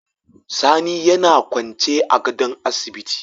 Sani yAna kwance a gadon asibiti